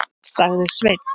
sagði Sveinn.